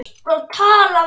fallega þeir sér ansa.